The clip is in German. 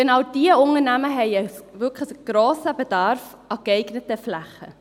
Genau diese Unternehmen haben einen grossen Bedarf an geeigneten Flächen.